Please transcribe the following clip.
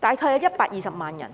總數大約有120萬人。